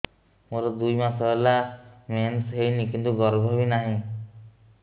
ମୋର ଦୁଇ ମାସ ହେଲା ମେନ୍ସ ହେଇନି କିନ୍ତୁ ଗର୍ଭ ବି ନାହିଁ